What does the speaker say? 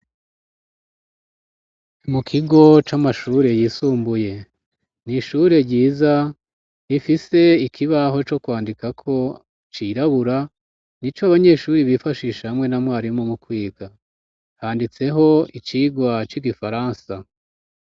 Mu kigo c'amashure yisumbuye, ni ishure ryiza rifise ikibaho co kwandikako cirabura, ni co abanyeshuri bifashisha hamwe na mwarimu mu kwiga, handitseho icigwa c'igifaransa.